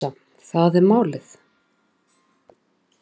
Ég hugsa, það er málið.